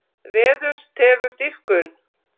Veður tefur dýpkun